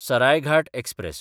Saraighat express